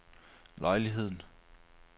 lejligheden